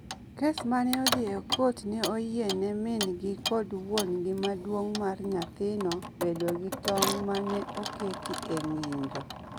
Kes ma ne odhi e kot ne oyiene min-gi kod wuon-gi maduong’ mar nyathino bedo gi tong’ ma ne oketi e ng’injo.